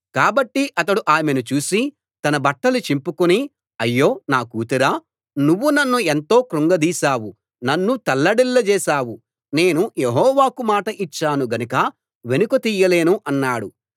కాబట్టి అతడు ఆమెను చూసి తన బట్టలు చింపుకుని అయ్యో నా కూతురా నువ్వు నన్ను ఎంతో క్రుంగదీశావు నన్ను తల్లడిల్లజేశావు నేను యెహోవాకు మాట ఇచ్చాను గనుక వెనుక తీయలేను అన్నాడు